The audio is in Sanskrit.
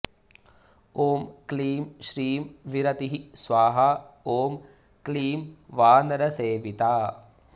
ॐ क्लीं श्रीं विरतिः स्वाहा ॐ क्लीं वानरसेविता